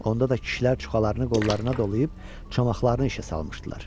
Onda da kişilər çuxalarını qollarına dolayıb, çomaqlarını işə salmışdılar.